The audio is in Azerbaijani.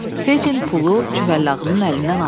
Feçin pulu Cüvəllağının əlindən aldı.